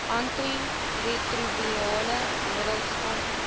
antiretrovirale middels aangebied